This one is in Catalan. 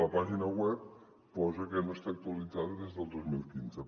la pàgina web posa que no està actualitzada des del dos mil quinze